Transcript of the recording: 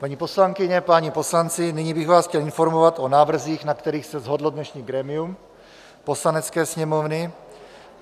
Paní poslankyně, páni poslanci, nyní bych vás chtěl informovat o návrzích, na kterých se shodlo dnešní grémium Poslanecké sněmovny.